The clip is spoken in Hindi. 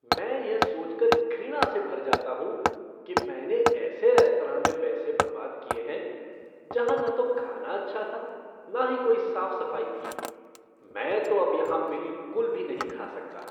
मैं यह सोचकर घृणा से भर जाता हूँ कि मैंने ऐसे रेस्तरां में पैसे बर्बाद किए हैं जहाँ न तो खाना अच्छा था न ही कोई साफ़ सफ़ाई थी। मैं तो अब यहाँ बिलकुल भी खा नहीं सकता।